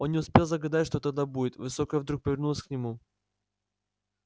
он не успел загадать что тогда будет высокая вдруг повернулась к нему